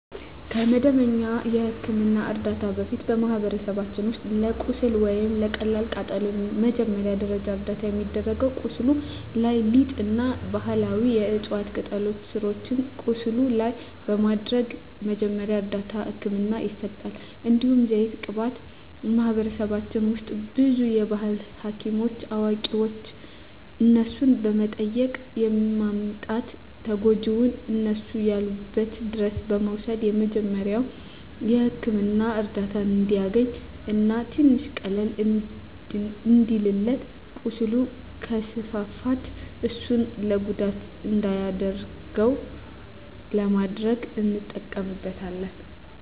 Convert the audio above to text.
ከመደበኛ የሕክምና ዕርዳታ በፊት፣ በማኅበረሰባችን ውስጥ ለቁስል ወይም ለቀላል ቃጠሎ መጀመሪያ ደረጃ እርዳታ የሚደረገው ቁስሉ ላይ ሊጥ እና ባህላዊ የዕፅዋት ቅጠሎችን ስሮችን ቁስሉ ላይ በማድረግ መጀመሪያ እርዳታ ህክምና ይሰጣል። እንዲሁም ዘይት ቅባት በማህበረሰባችን ውስጥ ብዙ የባህል ሀኪሞች አዋቂዋች እነሱን በመጠየቅ በማምጣት ተጎጅውን እነሱ ያሉበት ድረስ በመውሰድ የመጀሪያዉ ህክምና እርዳታ እንዲያገኝ እና ትንሽ ቀለል እንዲልለት ቁስሉ ከስፋፋት እሱን ለጉዳት እንዳይዳርገው ለማድረግ እንጠቀምበታለን።